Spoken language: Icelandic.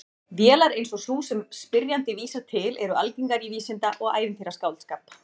Vélar eins og sú sem spyrjandi vísar til eru algengar í vísinda- og ævintýraskáldskap.